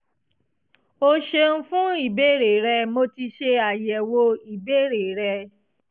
o ṣeun fun ibeere rẹ mo ti ṣe àyẹ̀wò ìbéèrè rẹ